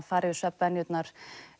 fara yfir svefnvenjur og